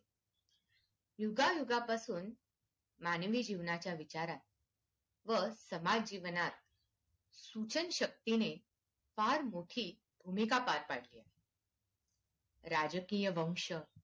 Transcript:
युगायुगा पासून मानवी जीवनाच्या विचारात व समाज जीवनात सुजन शक्तीने फार मोठी भूमिका पार पडली आहे राजकीय वंश